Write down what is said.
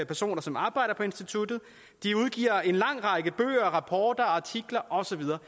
personer som arbejder på instituttet de udgiver en lang række bøger rapporter artikler og så videre